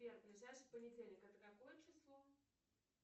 сбер ближайший понедельник это какое число